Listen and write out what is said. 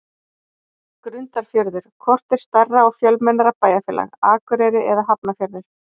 Grundarfjörður Hvort er stærra og fjölmennara bæjarfélag, Akureyri eða Hafnarfjörður?